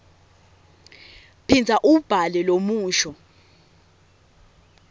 phindza uwubhale lomusho